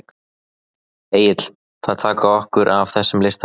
Egill: Að taka okkur af þessum lista?